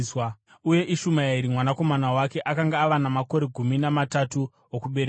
uye Ishumaeri mwanakomana wake akanga ava namakore gumi namatatu okuberekwa;